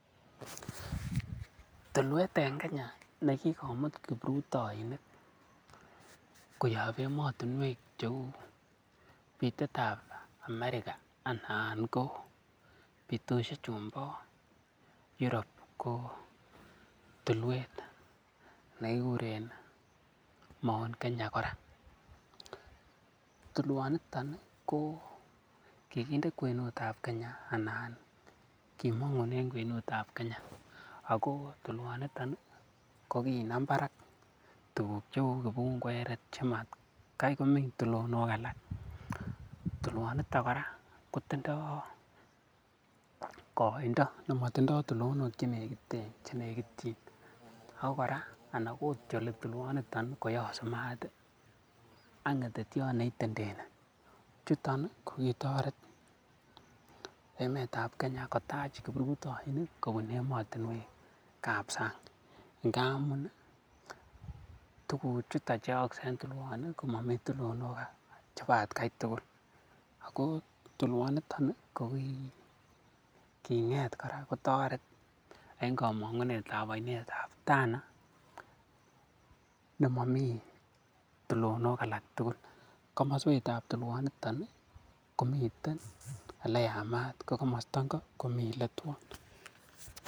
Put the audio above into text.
Tulwet en Kenya ne kigomut kiprutoinik koyob emotinwek cheu bitet ab Amerika anan ko bitoshek chun bo Europe ko tulwet ne kiguren Mount Kenya kora. Tulwonito ko kiginde kwenut ab Kenya kora anan kimong'unen kwenut ab Kenya ago tulwoniton ko kinam barak tuguk cheu kipungweret che matkai komeny tulonook alak. Tulwonito kora kotindo koindo nemotindo tulonok che nekityin ago kora anan kotyoli tulwonito, koyosu maat ak ng'etetyot neitendeni. Chuton ko kitoret emet ab Kenya kotach kiprutoinik kobune emotinwek ab sang, ngamun tuguchuto che yookse en tulwoni komomi tulnok chebo atkai tugul. Ago tulwonito ko ki king'et kora kotoret en komong'unet ab oinet ab Tana nemomi tulonok alak tugul komoswek ab tulwoniton komiten ele yamaat ko komosta ingo komi ele twon.